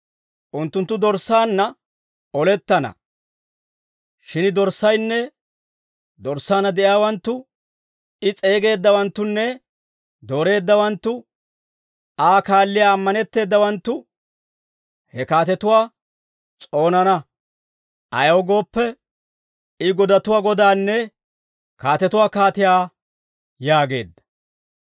Unttunttu Dorssaanna olettana; shin dorssaynne dorssaanna de'iyaawanttu, I s'eegeeddawanttunne dooreeddawanttu, Aa kaalliyaa ammanetteedawanttu, he kaatetuwaa s'oonana; ayaw gooppe, I godatuwaa Godaanne kaatetuwaa Kaatiyaa» yaageedda.